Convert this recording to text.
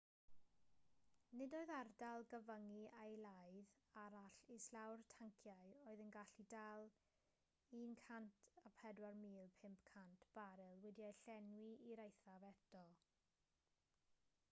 nid oedd ardal gyfyngu eilaidd arall islaw'r tanciau oedd yn gallu dal 104,500 baril wedi'u llenwi i'r eithaf eto